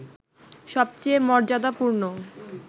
সবচেয়ে মর্যাদাপূর্ণ